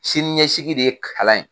Sini ɲɛsigi de ye kalan ye.